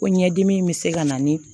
Ko ɲɛdimi in bɛ se ka na ni